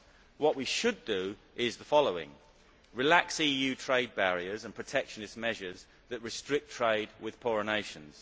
What we should do is the following relax EU trade barriers and protectionist measures that restrict trade with poorer nations